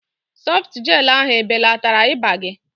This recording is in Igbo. Sọftu Jel ahu ebelatara ịba gị?